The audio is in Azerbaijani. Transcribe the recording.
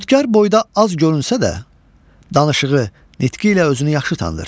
Xotkar boyda az görünsə də, danışığı, nitqi ilə özünü yaxşı tanıdır.